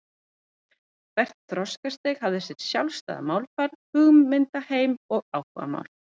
Hvert þroskastig hafði sitt sjálfstæða málfar, hugmyndaheim og áhugamál.